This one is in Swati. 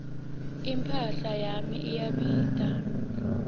imphahla yami iyabita